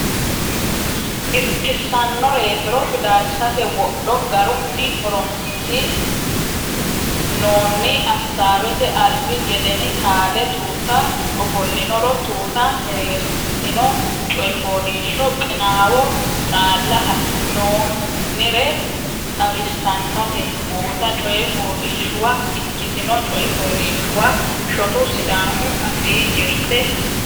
irkissannoreetiro Fidalsate wodho garunni horonsi noonni Assaawete albi gedeni taale Tuuta ofollinoro Tuuta mereersitinote Coy Fooliishsho Qinaawo Qaalla hasi noonnire xawissannote Guuta coy fooliishshuwa ikkitino Coy fooliishshuwa shotu Sidaamu Afii jirte.